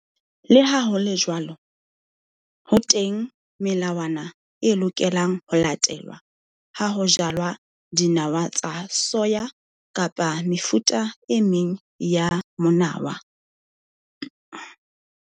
Le ha ho le jwalo ho teng melawana e lokelang ho latelwa ha ho jalwa dinawa tsa soya kapa mefuta e meng ya monawa.